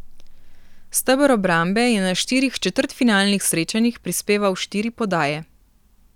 Steber obrambe je na štirih četrtfinalnih srečanjih prispeval štiri podaje.